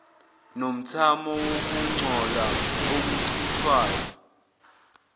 nomthamo wokungcola okuchithwayo